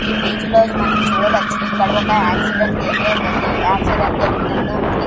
ఈ ఇమేజ్ లో మనం చూడవచ్చు ఇక్కడ ఒక యాక్సిడెంట్ ఏరియా జరిగి ఆక్సిడెంట్ జరిగినాటు గా ఉంది.